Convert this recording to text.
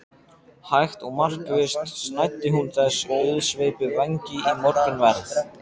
Hægt og markvisst snæddi hún þessa auðsveipu vængi í morgunverð.